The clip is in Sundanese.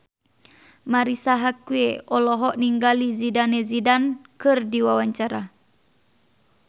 Marisa Haque olohok ningali Zidane Zidane keur diwawancara